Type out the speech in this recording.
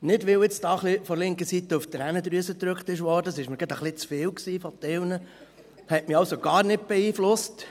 Nicht, weil jetzt von der linken Seite ein bisschen auf die Tränendrüse gedrückt wurde – das war mir teilweise gerade etwas zu viel, das hat mich also gar nicht beeinflusst.